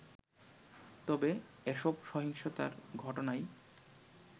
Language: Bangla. তবে এসব সহিংসতার ঘটনায়